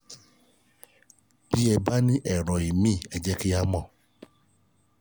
bí ẹ bá ní èrò míì ẹ jẹ́ kí n mọ̀